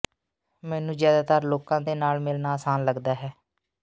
ਮੈਨੂੰ ਜ਼ਿਆਦਾਤਰ ਲੋਕਾਂ ਦੇ ਨਾਲ ਮਿਲਣਾ ਆਸਾਨ ਲੱਗਦਾ ਹੈ